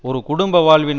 ஒரு குடும்ப வாழ்வின்